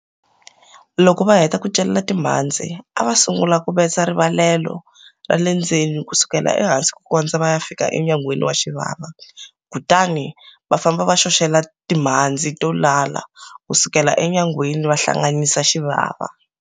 Loko va heta ku celela timhandzi a va sungula ku betsa rimbalelo ra le ndzeni ku sukela ehansi ku kondza va ya fika enyangweni ya xivava, kutani va famba va xoxela timhandzi to lala ku sukela enyangweni va hlanganyisa xivava.